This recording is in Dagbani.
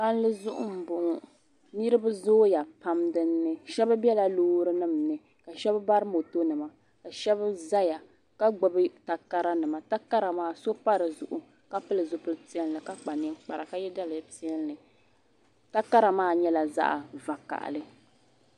palli zuɣu n bɔŋɔ niraba zooya pam dinni shab biɛla loori nim ni ka shab bari moto nima shab ʒɛya ka gbubi takara nima takara maa so pa dizuɣu ka pili zipili piɛlli ka kpa ninkpara ka yɛ daliya piɛlli takara maa nyɛla zaɣ vakaɣali